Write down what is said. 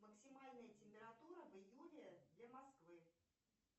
максимальная температура в июле для москвы